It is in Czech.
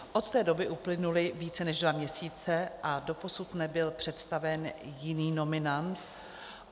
Od té doby uplynuly více než dva měsíce a doposud nebyl představen jiný nominant.